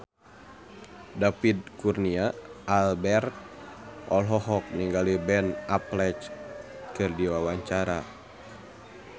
David Kurnia Albert olohok ningali Ben Affleck keur diwawancara